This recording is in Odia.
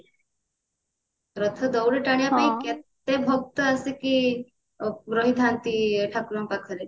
ରଥ ଦଉଡି ଟାଣିବା ପାଇଁ କେତେ ଭକ୍ତ ଆସିକି ପ ରହିଥାନ୍ତି ଠାକୁରଙ୍କ ପାଖରେ